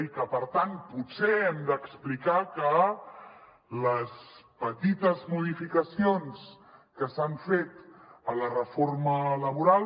i per tant potser hem d’explicar que les petites modificacions que s’han fet a la reforma laboral